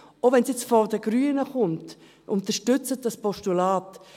Auch wenn es jetzt von den Grünen kommt: Unterstützen Sie das Postulat.